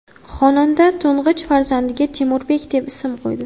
Xonanda to‘ng‘ich farzandiga Temurbek deb ism qo‘ydi.